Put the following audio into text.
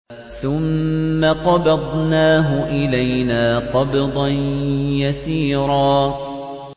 ثُمَّ قَبَضْنَاهُ إِلَيْنَا قَبْضًا يَسِيرًا